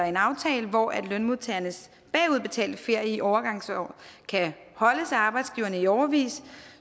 en aftale hvor lønmodtagernes bagudbetalte ferie i overgangsår kan holdes af arbejdsgiverne i årevis